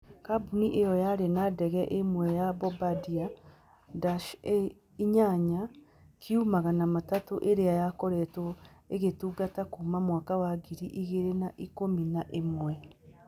Kambuni ĩyo yarĩ na ndege ĩmwe ya Bombardier DASH8 Q300 ĩrĩa yakoretwo ĩgĩtungata kuuma mwaka wa ngiri igĩrĩ na ikũmi na ĩmwe.